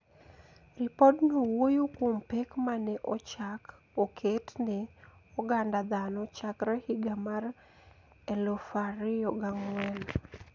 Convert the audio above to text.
Ripodno wuoyo kuom pek ma ne ochak oket ne oganda dhano chakre higa mar 2004,